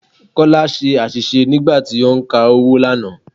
Kọ́lá ṣe àṣìṣe nígbà tí ó ń ka owó lánàá.